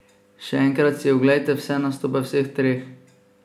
Še enkrat si oglejte vse nastope vseh treh!